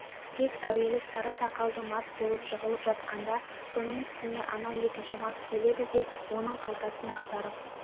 тек әуелі сары сақалды мас болып жығылып жатқанда соның үстіне анау екінші мас келеді де оның қалтасын ақтарып